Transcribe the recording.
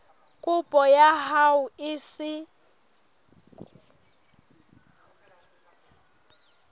kopo ya hao e se